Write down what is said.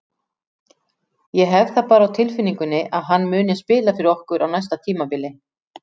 Ég hef það bara á tilfinningunni að hann muni spila fyrir okkur á næsta tímabili.